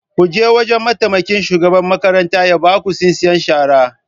Ku je wajan mataimakin shugaban makaranta ya baku tsintsiyar shara